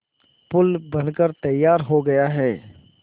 पुल बनकर तैयार हो गया है